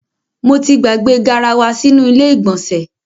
Mo ti gbàgbé garawa sínú ilé ìgbọ̀nsẹ̀.